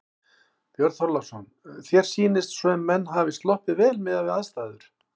Björn Þorláksson: Þér sýnist sem menn hafi sloppið vel miðað við aðstæður?